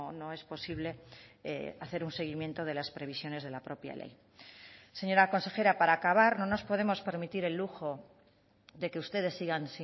no es posible hacer un seguimiento de las previsiones de la propia ley señora consejera para acabar no nos podemos permitir el lujo de que ustedes sigan